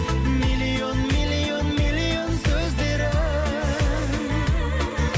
миллион миллион миллион сөздері